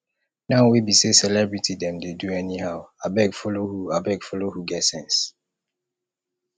now wey be sey celebrity dem dey do anyhow abeg follow who abeg follow who get sense